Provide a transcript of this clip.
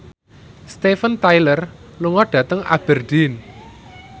Steven Tyler lunga dhateng Aberdeen